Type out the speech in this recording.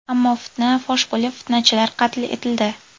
Ammo fitna fosh bo‘lib, fitnachilar qatl etildi.